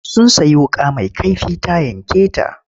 Sun sayi wuƙa mai kaifi ta yanke ta.